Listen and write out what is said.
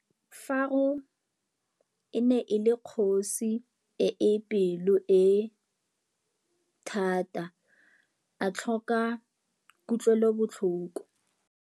Faro e ne le kgosi e e pelo-e-thata a tlhoka kutlwêlôbotlhoko.